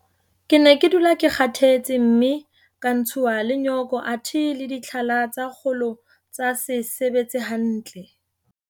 Ke ne ke dula ke kgathetse mme ka ntshuwa le nyoko athe le ditlhala tsa kgolo tsa se sebetse hantle.